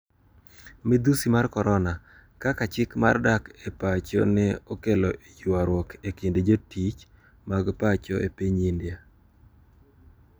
Midhusi mar korona: Kaka chik mar dak e pacho ne okelo ywaruok e kind jotich mag pacho e piny India